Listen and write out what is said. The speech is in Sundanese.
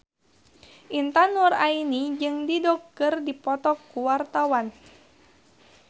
Intan Nuraini jeung Dido keur dipoto ku wartawan